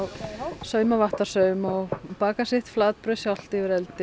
sauma vattarsaum og baka sitt flatbrauð sjálft yfir eldi